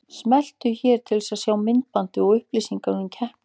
Smelltu hér til að sjá myndbandið og upplýsingar um keppnina